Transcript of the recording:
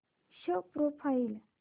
show profile